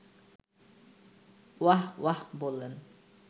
ওয়াহ্ ওয়াহ্ বলেন